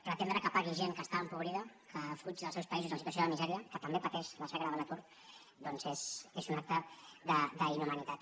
pretendre que pagui gent que està empobrida que fuig dels seus països en situació de misèria que també pateix la xacra de l’atur és un acte d’inhumanitat